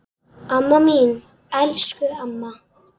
Amma mín, elsku amma.